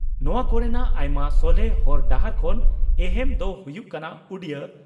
ᱱᱚᱣᱟ ᱠᱚᱨᱮᱱᱟᱜ ᱟᱭᱢᱟ ᱥᱚᱞᱦᱮ ᱦᱚᱨ ᱰᱟᱦᱟᱨ ᱠᱷᱚᱱ ᱮᱦᱮᱢ ᱫᱚ ᱦᱩᱭᱩᱜ ᱠᱟᱱᱟ ᱩᱰᱤᱭᱟᱹ